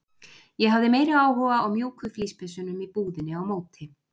Ég hafði meiri áhuga á mjúku flíspeysunum í búðinni á móti.